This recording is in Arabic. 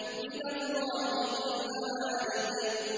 مِّنَ اللَّهِ ذِي الْمَعَارِجِ